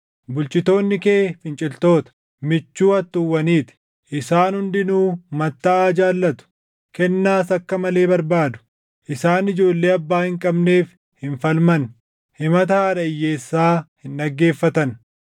Bulchitoonni kee finciltoota; michuu hattuuwwanii ti; isaan hundinuu mattaʼaa jaallatu; kennaas akka malee barbaadu. Isaan ijoollee abbaa hin qabneef hin falman; himata haadha hiyyeessaa hin dhaggeeffatan.